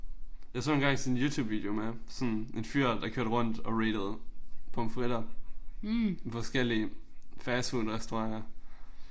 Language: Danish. Jeg sådan engang sådan en youtubevideo med sådan en fyr det kørte rundt og ratede pomfritter i forskellige fastfoodrestauranter